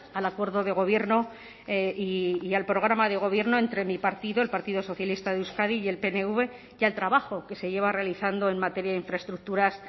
al acuerdo de gobierno y al programa de gobierno entre mi partido el partido socialista de euskadi y el pnv y al trabajo que se lleva realizando en materia de infraestructuras